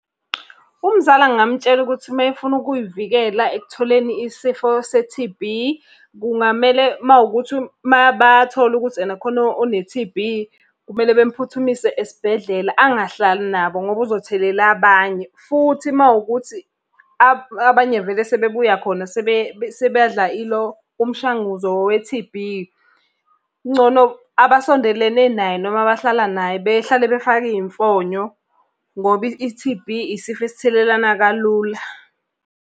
Umzala ngingamutshela ukuthi uma efuna ukuy'vikela ekutholeni isifo se-T_B, kungamele uma kuwukuthi uma bathole ukuthi ena khona one-T_B kumele bemuphuthumise esibhedlela angahlali nabo ngoba uzothelela abanye. Futhi uma kuwukuthi abanye vele sebebuya khona sebadla ilo, umshanguzo we-T_B. Kungcono abasondelene naye, noma abahlala naye behlale befake iy'mfonyo ngoba i-T_B isifo esithelelana kalula.